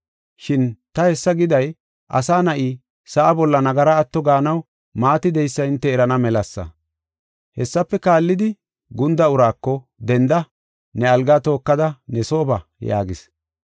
Shin ta hessa giday Asa Na7i sa7a bolla nagara ato gaanaw maati de7eysa hinte erana melasa.” Hessafe kaallidi, gunda uraako, “Denda; ne algaa tookada ne soo ba” yaagis.